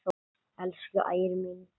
Elsku Ægir minn.